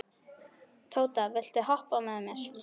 Tóta, viltu hoppa með mér?